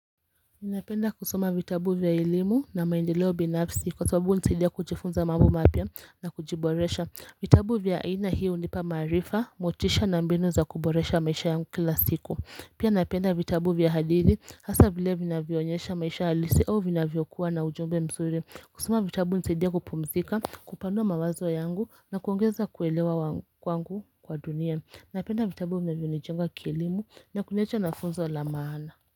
Ninapenda kusoma vitabu vya elimu na maendeleo binafsi kwa sababu hunisadia kujifunza mambo mapya na kujiboresha vitabu vya aina hii hunipa maarifa motisha na mbinu za kuboresha maisha yangu kila siku Pia napenda vitabu vya hadithi hasa vile vina vinavyonyesha maisha halisi au vinavyokuwa na ujumbe msuri kusoma vitabu hunisadia kupumzika kupanua mawazo yangu na kuongeza kuelewa wangu kwangu kwa dunia Napenda vitabu vinavyonijenga kielimu na kuniacha na funzo la maana.